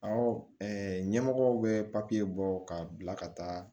Awɔ ɲɛmɔgɔw bɛ papiye bɔ k'a bila ka taa